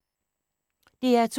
DR2